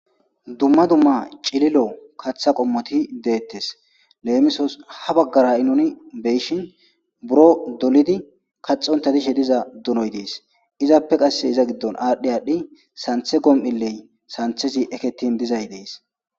Dumma dumma cililo katha qommoti deettes. leemisos ha baggara7i nuni beshin buro dolidi kaxonta dishe diza donoy dees. izappe qasse iza giddon aadhdhi aadhdhi santhe gom7iley santhezi eketin dizay dees.